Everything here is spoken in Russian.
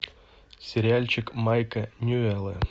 сериальчик майка ньюэлла